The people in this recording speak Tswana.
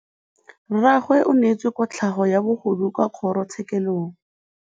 Rragwe o neetswe kotlhaô ya bogodu kwa kgoro tshêkêlông.